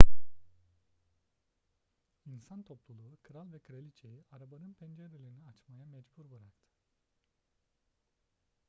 i̇nsan topluluğu kral ve kraliçe'yi arabanın pencerelerini açmaya mecbur bıraktı